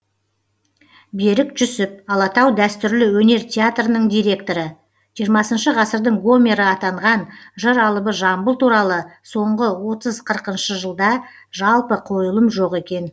берік жүсіп алатау дәстүрлі өнер театрының директоры жиырмасыншы ғасырдың гомері атанған жыр алыбы жамбыл туралы соңғы отыз қырықыншы жылда жалпы қойылым жоқ екен